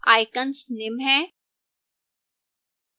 icons निम्न हैं: